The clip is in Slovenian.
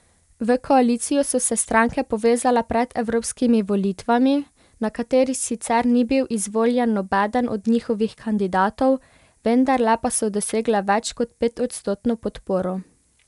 V koalicijo so se stranke povezale pred evropskimi volitvami, na katerih sicer ni bil izvoljen nobeden od njihovih kandidatov, vendarle pa so dosegle več kot petodstotno podporo.